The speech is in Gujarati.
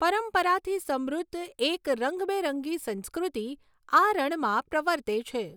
પરંપરાથી સમૃદ્ધ એક રંગબેરંગી સંસ્કૃતિ આ રણમાં પ્રવર્તે છે.